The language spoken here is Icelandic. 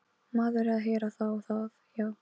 Maður er að heyra það, já.